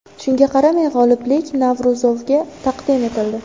Shunga qaramay, g‘oliblik Navro‘zovga taqdim etildi.